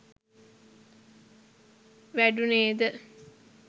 වැඩුණේ ද